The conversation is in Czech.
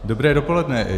Dobré dopoledne.